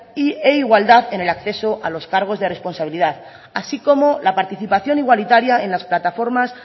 e igualdad en el acceso a los cargos de responsabilidad así como la participación igualitaria en las plataformas